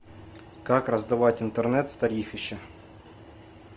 как раздавать интернет с тарифища